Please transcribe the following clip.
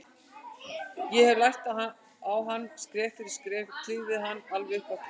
Ég hefði lært á hann, skref fyrir skref, klifið hann alveg upp á topp.